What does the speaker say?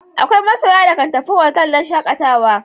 Akwai masoya da kan tafi otal don shakatawa.